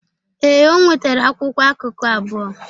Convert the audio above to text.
Ee, o nwetara akwụkwọ akụkụ abụọ.